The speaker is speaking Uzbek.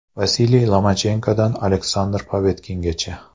Vasiliy Lomachenkodan Aleksandr Povektingacha.